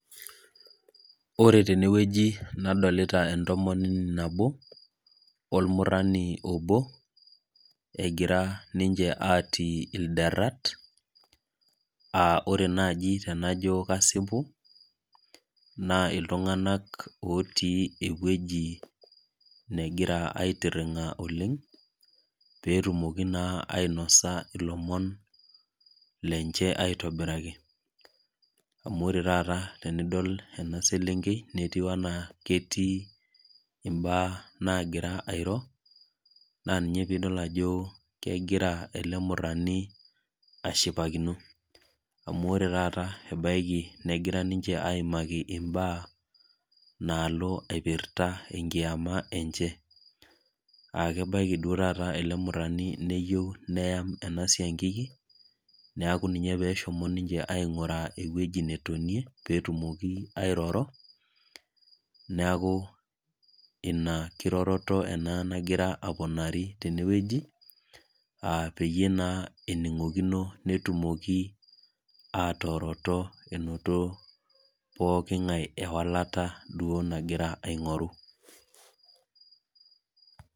Ore tene wueji nadolita entomoni nabo ormurani obo egira ninje atii ilderat aa ore naaji tenaajo asipu naa iltung'ana otii ewueji negira aitiring'a oleng petumoki naa ainosa elomon lenye aitobiraki amu ore taata tenidol ena selengei naa keyieu enaa ketii mbaa airo naa ena peidol Ajo kegira ele murani ashipakinoamu ore taata ebaiki negira niche ayimaki mbaa nalo aipirta kiama enye aa kebaiki taata ele murani neyiou neyam ena siankiki neeku ena pehoho niche aiguraa ewueji netonie petumoki airoro neeku ena kiroroto nagira alo dukuya tenewueji pee enigokino netumoki atoroto enoto pooki ngae ewalata nagira duo aing'oru